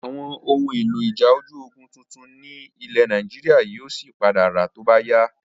Àwọn ohun èlò ìjà ojú ogún tuntun ni ilẹ̀ Nàìjíríà yìí ó sì padà ra to bá yá.